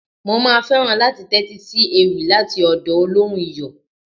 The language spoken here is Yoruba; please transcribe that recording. Mo máa fẹ́ràn láti tẹ́tí sí ewì láti ọ̀dọ̀ olóhùn Iyọ̀.